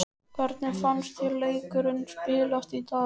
Hvernig fannst þér leikurinn spilast í dag?